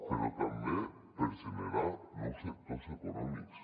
però també per generar nous sectors econòmics